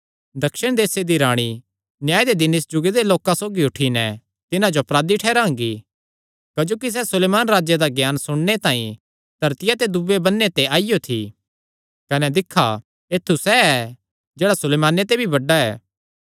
दक्षिण देसे दी राणी न्याय दे दिन इस जुगे दे लोकां सौगी उठी नैं तिन्हां जो अपराधी ठैहरांगी क्जोकि सैह़ सुलेमान राजे दा ज्ञान सुणने तांई धरतिया दे दूये बन्ने ते आईयो थी कने दिक्खा ऐत्थु सैह़ ऐ जेह्ड़ा सुलेमाने ते भी बड्डा ऐ